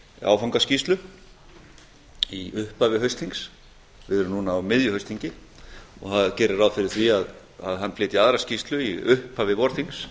áfangaskýrslu í upphafi haustþings við erum núna á miðju haustþingi og hann gerir ráð fyrir því að hann flytji aðra skýrslu í upphafi vorþings